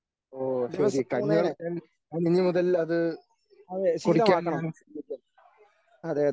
ഓ ശരി കഞ്ഞിവെള്ളം ഞാൻ ഇനിമുതൽ അത് കുടിക്കാൻ ഞാൻ ശ്രമിക്കാം.